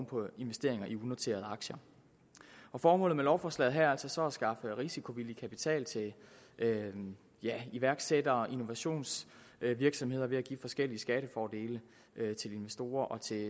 på investeringer i unoterede aktier formålet med lovforslaget her er altså så at skaffe risikovillig kapital til iværksættere og innovationsvirksomheder ved at give forskellige skattefordele til investorer og til